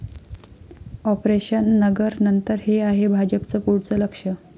operation 'Nagar' नंतर हे आहे भाजपचं पुढचं लक्ष्य